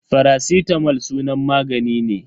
Faracitamol sunan magani ne.